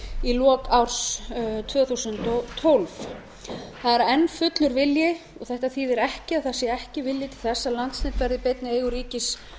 í lok árs tvö þúsund og tólf það er enn fullur vilji og þetta þýðir ekki að það sé ekki vilji til þess að landsnet verði í beinni eigu ríkis